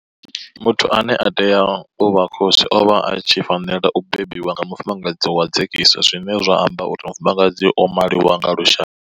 Muthu ane a tea u vha khosi o vha a tshi fanela u bebwa nga mufumakadzi wa dzekiso zwine zwa amba uri mufumakadzi o maliwa nga lushaka.